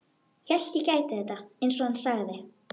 Hélt ég gæti þetta ekki, einsog hann sagði.